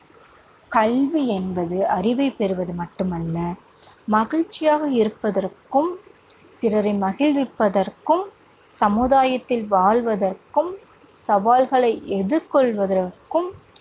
கல்வி என்பது அறிவை பெறுவது மட்டுமல்ல மகிழ்ச்சியாக இருப்பதற்கும், பிறரை மகிழ்விப்பதற்கும், சமுதாயத்தில் வாழ்வதற்கும், சவால்களை எதிர்கொள்வதற்கும்,